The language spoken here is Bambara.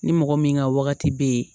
Ni mɔgɔ min ka wagati be ye